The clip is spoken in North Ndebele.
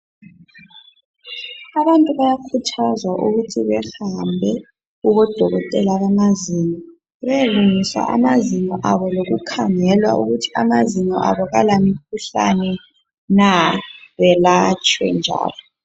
Abantu abayakhuthazwa ukuthi behambe kubo dokotela bemazweni beyelungiswa amazinyo abo lokukhangelwa ukuthi amazinyo abo akala mkhuhlane nah belatshwe njalo